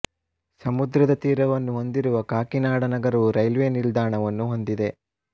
ಸಮುದ್ರದ ತೀರವನ್ನು ಹೊಂದಿರುವ ಕಾಕಿನಾಡ ನಗರವು ರೈಲ್ವೆ ನಿಲ್ದಾಣವನ್ನು ಹೊಂದಿದೆ